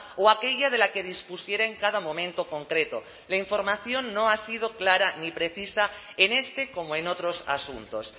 o aquella de la que dispusiera en cada momento concreto la información no ha sido clara y precisa en este como en otros asuntos